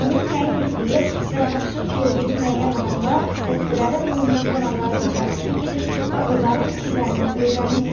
Onun təyin etdiyi və tapşırıq verdiyi müəyyən adamlar dəstələrə bölünüb qonaqların içərisinə girir və onların fikirlərini öyrənirdilər.